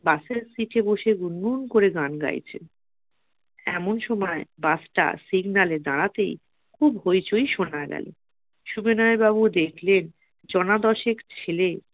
পাশের seat বসে গুনগুন করে গান গাইছেন ।এমন সময় বাসটা signal দাঁড়াতে খুব হইচই শোনা গেল সুবিনয় বাবু দেখলেন জনা দশেক ছেলে